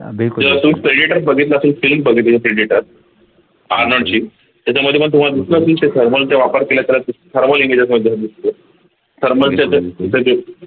Predator बघितला असेल film बघितली का Predator अरनॉल्ड ची त्याच्यामध्ये पण तुम्हाला दिसल असेल ते thermal चा वापर thermalimages बनताना दिसते